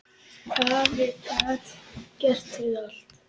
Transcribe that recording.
Afi gat gert við allt.